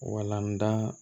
Walanda